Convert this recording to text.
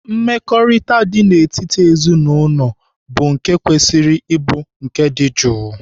Mmekọrịta dị n'etiti ezinaụlọ bụ nke kwesịrị ịbụ nke dị jụụ.